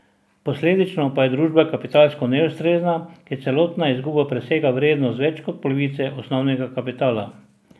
Posledično pa je družba kapitalsko neustrezna, ker celotna izguba presega vrednost več kot polovice osnovnega kapitala.